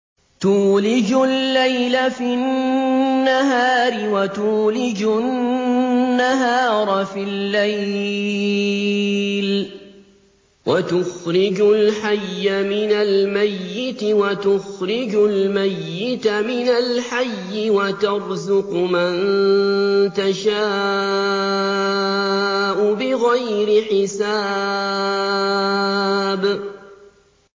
تُولِجُ اللَّيْلَ فِي النَّهَارِ وَتُولِجُ النَّهَارَ فِي اللَّيْلِ ۖ وَتُخْرِجُ الْحَيَّ مِنَ الْمَيِّتِ وَتُخْرِجُ الْمَيِّتَ مِنَ الْحَيِّ ۖ وَتَرْزُقُ مَن تَشَاءُ بِغَيْرِ حِسَابٍ